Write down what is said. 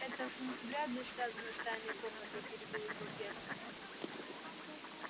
это м-м вряд ли связано с тайной комнатой перебил его перси